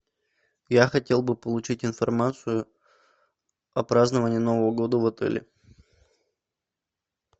я хотел бы получить информацию о праздновании нового года в отеле